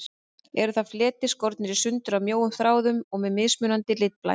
Eru það fletir, skornir í sundur af mjóum þráðum og með mismunandi litblæ.